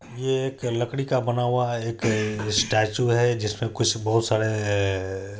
ये एक लकड़ी का बना हुआ हैं एक स्टैचू हैं जिसमे कुछ बहुत सारे--